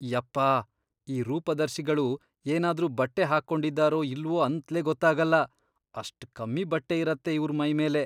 ಯಪ್ಪಾ! ಈ ರೂಪದರ್ಶಿಗಳು ಏನಾದ್ರೂ ಬಟ್ಟೆ ಹಾಕೊಂಡಿದಾರೋ ಇಲ್ವೋ ಅಂತ್ಲೇ ಗೊತ್ತಾಗಲ್ಲ.. ಅಷ್ಟ್ ಕಮ್ಮಿ ಬಟ್ಟೆ ಇರತ್ತೆ ಇವ್ರ್ ಮೈಮೇಲೆ.